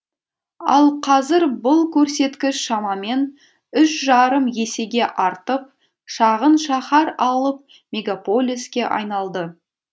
ал қазір бұл көрсеткіш шамамен үш жарым есеге артып шағын шаһар алып мегаполиске айналды